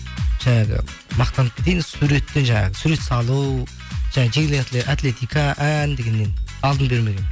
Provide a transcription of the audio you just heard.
жаңағы мақтанып кетейін суреттен жаңағы сурет салу жаңағы жеңіл атлетика ән дегеннен алдын бермегенмін